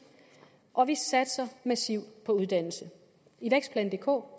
og vi satser massivt på uddannelse i vækstplan dk